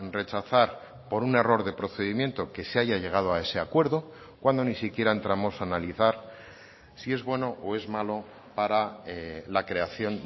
rechazar por un error de procedimiento que se haya llegado a ese acuerdo cuando ni siquiera entramos a analizar si es bueno o es malo para la creación